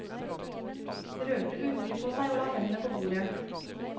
Rørte urolig på seg og la hendene på bordet.